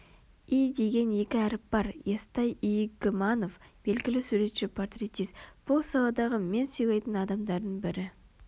и деген екі әріп бар естай игіманов белгілі суретші-портретист бұл саладағы мен сыйлайтын адамдардың бірі